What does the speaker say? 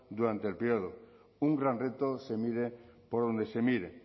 durante el periodo un gran reto se mire por donde se mire